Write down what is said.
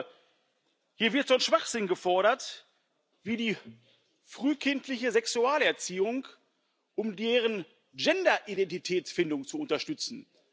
Aber hier wird so ein Schwachsinn gefordert wie die frühkindliche Sexualerziehung, um deren Gender Identitätsfindung zu unterstützen.